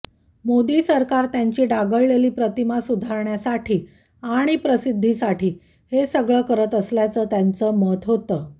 मोदी सरकार त्यांची डागाळलेली प्रतिमा सुधारण्यासाठी आणि प्रसिद्धीसाठी हे सगळं करत असल्याचं त्यांचं मत होतं